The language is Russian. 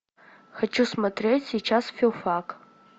хочу смотреть сейчас филфак